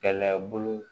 Kɛnɛya bolo